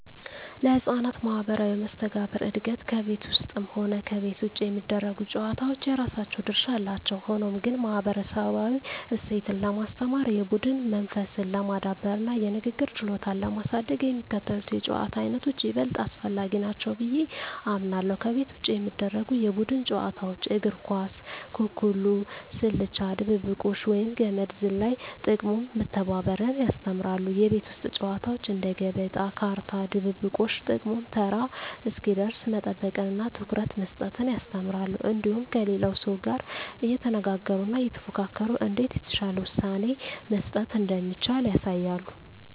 ለሕፃናት ማኅበራዊ መስተጋብር እድገት ከቤት ውስጥም ሆነ ከቤት ውጭ የሚደረጉ ጨዋታዎች የራሳቸው ድርሻ አላቸው። ሆኖም ግን፣ ማኅበረሰባዊ እሴትን ለማስተማር፣ የቡድን መንፈስን ለማዳበርና የንግግር ችሎታን ለማሳደግ የሚከተሉት የጨዋታ ዓይነቶች ይበልጥ አስፈላጊ ናቸው ብዬ አምናለሁ፦ ከቤት ውጭ የሚደረጉ የቡድን ጨዋታዎች እግር ኳስ፣ ኩኩሉ፣ ስልቻ ድብብቆሽ፣ ወይም ገመድ ዝላይ። ጥቅሙም መተባበርን ያስተምራሉ። የቤት ውስጥ ጨዋታዎች እንደ ገበጣ፣ ካርታ፣ ድብብቆሽ… ጥቅሙም ተራ እስኪደርስ መጠበቅንና ትኩረት መስጠትን ያስተምራሉ። እንዲሁም ከሌላው ሰው ጋር እየተነጋገሩና እየተፎካከሩ እንዴት የተሻለ ውሳኔ መስጠት እንደሚቻል ያሳያሉ።